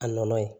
A nɔnɔ ye